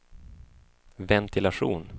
ventilation